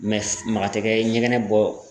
maga tɛ kɛ ɲɛgɛnɛ bɔ